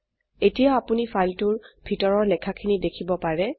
এতিয়া আপোনি ফাইলটোৰ ভিতৰৰ লেখাখিনি দেখিব পাৰে